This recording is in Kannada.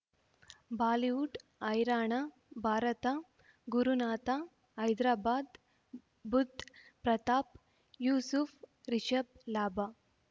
ಬಾಲಿವುಡ್ ಹೈರಾಣ ಭಾರತ ಗುರುನಾಥ ಹೈದರಾಬಾದ್ ಬುಧ್ ಪ್ರತಾಪ್ ಯೂಸುಫ್ ರಿಷಬ್ ಲಾಭ